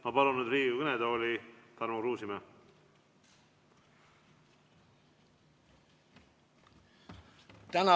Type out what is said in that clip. Ma palun nüüd Riigikogu kõnetooli Tarmo Kruusimäe!